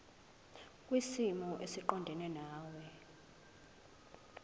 kwisimo esiqondena nawe